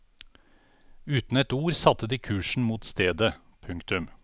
Uten et ord satte de kursen mot stedet. punktum